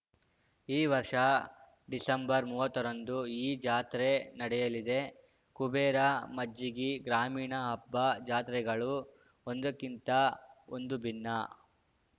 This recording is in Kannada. ಈ ವರ್ಷ ಡಿಸೆಂಬರ್ಮುವತ್ತ ರಂದು ಈ ಜಾತ್ರೆ ನಡೆಯಲಿದೆ ಕುಬೇರ ಮಜ್ಜಿಗಿ ಗ್ರಾಮೀಣ ಹಬ್ಬ ಜಾತ್ರೆಗಳು ಒಂದಕ್ಕಿಂತ ಒಂದು ಭಿನ್ನ